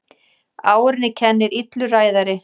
Árinni kennir illur ræðari.